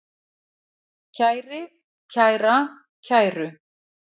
kæri, kæra, kæru